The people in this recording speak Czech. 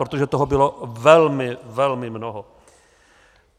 Protože toho bylo velmi, velmi mnoho.